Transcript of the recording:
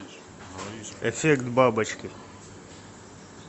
эффект бабочки